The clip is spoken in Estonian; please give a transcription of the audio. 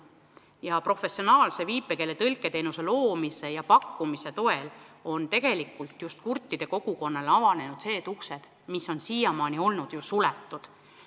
Tänu professionaalse viipekeeletõlke teenuse pakkumisele on kurtide kogukonnale avanenud ka uksed, mis on siiamaani suletud olnud.